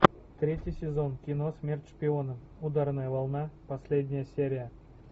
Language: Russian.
третий сезон кино смерть шпиона ударная волна последняя серия